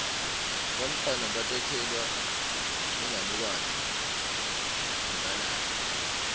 bantfwana batekelwa inganekwane nabalala